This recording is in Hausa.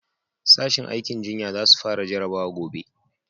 Sashin aikin jinya za su fara jarabawa gobe